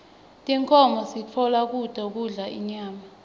tinkhomo sitfola kuto kudla inyama